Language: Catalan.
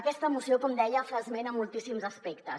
aquesta moció com deia fa esment a moltíssims aspectes